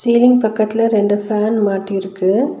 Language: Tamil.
சீலிங் பக்கத்துல ரெண்டு ஃபேன் மாட்டிருக்கு.